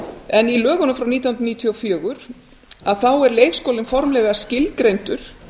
en í lögunum frá nítján hundruð níutíu og fjögur þá er leikskólinn formlega skilgreindur